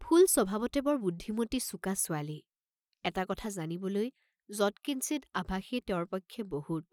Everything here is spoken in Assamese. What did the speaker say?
ফুল স্বভাৱতে বৰ বুদ্ধিমতী চোকা ছোৱালী, এটা কথা জানিবলৈ যৎকিঞ্চিৎ আভাষেই তেওঁৰ পক্ষে বহুত।